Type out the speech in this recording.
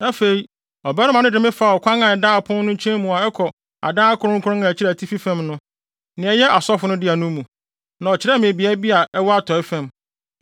Afei ɔbarima no de me faa ɔkwan a ɛda ɔpon no nkyɛn mu a ɛkɔ adan akronkron a ɛkyerɛ atifi fam no, nea ɛyɛ asɔfo no dea no mu, na ɔkyerɛɛ me beae bi a ɛwɔ atɔe fam.